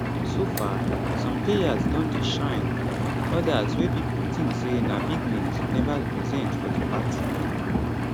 so far some players don dey shine odas wey pipo tink say na big names neva represent for di party